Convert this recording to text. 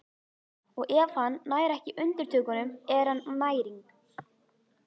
Og ef hann nær ekki undirtökunum er hann næring.